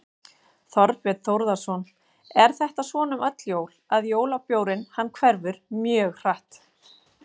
Þorbjörn Þórðarson: Er þetta svona um öll jól að jólabjórinn hann hverfur mjög hratt?